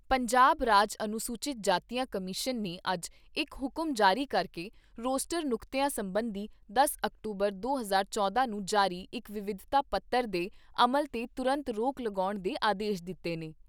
ਪੰਜਾਬ ਰਾਜ ਅਨੁਸੂਚਿਤ ਜਾਤੀਆਂ ਕਮਿਸ਼ਨ ਨੇ ਅੱਜ ਇੱਕ ਹੁਕਮ ਜਾਰੀ ਕਰਕੇ ਰੋਸਟਰ ਨੁਕਤਿਆਂ ਸਬੰਧੀ ਦਸ ਅਕਤੂਬਰ ਦੇ ਹਜ਼ਾਰ ਚੌਦਾਂ ਨੂੰ ਜਾਰੀ ਇੱਕ ਵਿਵਾਦਤ ਪੱਤਰ ਦੇ ਅਮਲ 'ਤੇ ਤੁਰੰਤ ਰੋਕ ਲਗਾਉਣ ਦੇ ਆਦੇਸ਼ ਦਿੱਤੇ ਨੇ।